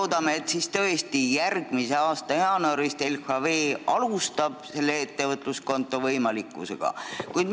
Loodame, et LHV järgmise aasta jaanuarist tõesti alustab selle ettevõtluskonto võimaluse pakkumisega.